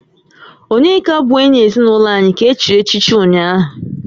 Onyeka bụ enyi ezinụlọ anyị ka e chiri echichi ụnyahụ